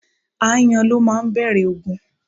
Ááyàn ló máa ń bẹ̀rẹ̀ ogun.